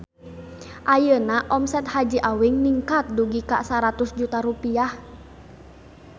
Ayeuna omset Haji Awing ningkat dugi ka 100 juta rupiah